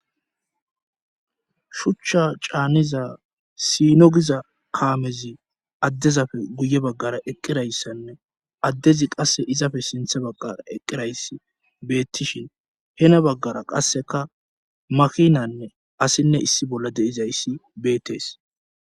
Shuchcha caaniza siino giza kaamezi addezafe guye baggara eqqirayssanne addezi qasse izafe sinthe baggara eqqirayss beettishin hena baggara qasseka makinanne asinne issi bolla deizayssi beetees.